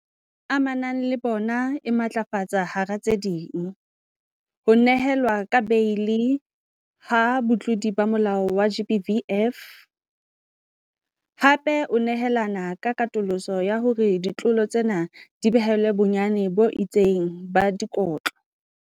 Amanang le bona e matlafatsa hara tse ding, ho nehelwa ka beili ha batlodi ba molao wa GBVF, hape o nehelana ka katoloso ya hore ditlolo tsena di behelwe bonyane bo itseng ba dikotlo.